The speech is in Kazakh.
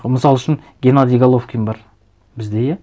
мысал үшін геннадий головкин бар бізде иә